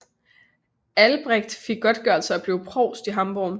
Albrecht fik godtgørelse og blev provst i Hamborg